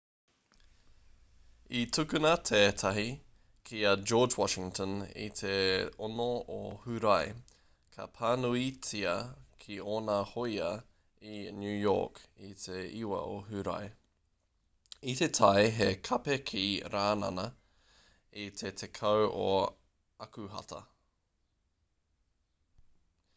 i tukuna tētahi ki a george washington i te 6 o hūrae ka pānuitia ki ōna hōia i new york i te 9 o hūrae i tae he kape ki rānana i te 10 o akuhata